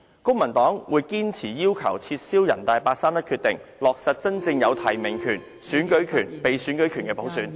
公民黨會堅持要求撤銷人大八三一決定，落實真正有提名權......選舉權、被選舉權的普選。